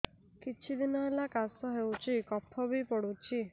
କିଛି ଦିନହେଲା କାଶ ହେଉଛି କଫ ବି ପଡୁଛି